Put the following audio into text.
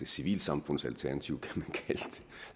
civilsamfundets alternativ